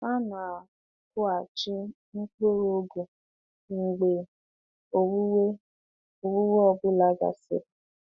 Ha na-akụghachi mkpụrụ ugu mgbe owuwe owuwe ọ bụla gasịrị.